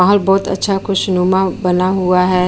माहोल बहुत अच्छा खुशनुमा बना हुआ है।